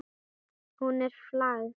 Hún er flagð.